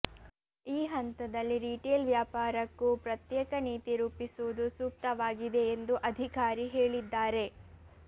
ಈ ಹಂತದಲ್ಲಿ ರಿಟೇಲ್ ವ್ಯಾಪಾರಕ್ಕೂ ಪ್ರತ್ಯೇಕ ನೀತಿ ರೂಪಿಸುವುದು ಸೂಕ್ತವಾಗಿದೆ ಎಂದು ಅಧಿಕಾರಿ ಹೇಳಿದ್ದಾರೆ